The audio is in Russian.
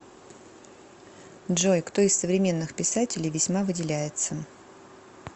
джой кто из современных писателей весьма выделяется